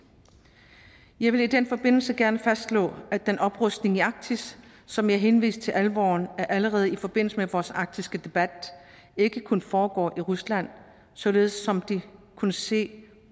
jeg vil i den forbindelse gerne fastslå at den oprustning i arktis som jeg henviste til alvoren i allerede i forbindelse med vores arktiske debat ikke kun foregår i rusland sådan som det kunne se